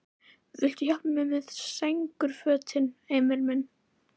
Viltu hjálpa mér með sængurfötin, Emil minn?